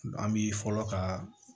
An bi fɔlɔ ka